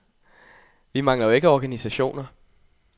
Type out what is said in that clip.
Vi mangler jo ikke organisationer.